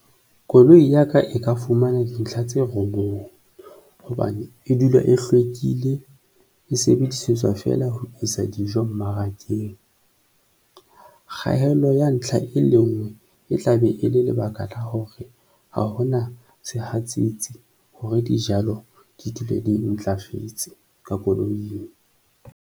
Koloi ya ka e ka fumana dintlha tse robong hobane e dula e hlwekile, e sebedisetswa feela ho isa dijo mmarakeng. Kgaello ya ntlha e le nngwe e tla be e le lebaka la hore ha hona sehatsetsi hore dijalo di dule di ntlafetse ka koloing.